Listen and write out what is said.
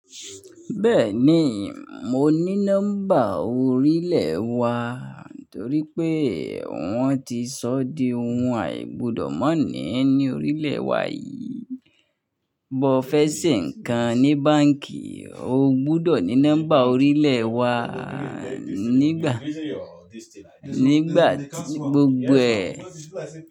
Bẹ́ẹ̀ni mo ni nọ́mbà orile wa toripe won ti so di oun aigbodo mani ni orilẹ wà yí. Bo fẹ́ ṣe nǹkan ní báǹkì, o gbudọ̀ ní nọ́mbà orílẹ̀ wá nígbà, nígbà gbogbo ẹ̀.